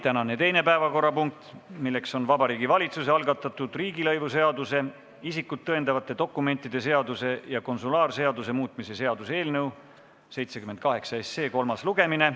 Tänane teine päevakorrapunkt on Vabariigi Valitsuse algatatud riigilõivuseaduse, isikut tõendavate dokumentide seaduse ja konsulaarseaduse muutmise seaduse eelnõu 78 kolmas lugemine.